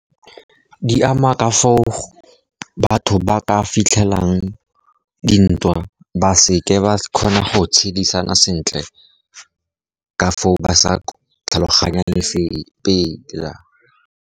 Di ama ka foo batho ba ka fitlhelang dintwa, ba seke ba kgona go tshedisana sentle ka foo ba sa tlhaloganye .